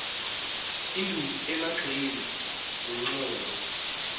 induku emagxeni nenxhowa